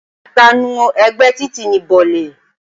Ìpanu ẹ̀gbẹ́ títì ni bọ̀lì